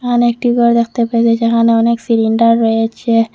এখানে একটি গর দেখতে পাই যে যেখানে অনেক সিলিন্ডার রয়েছে।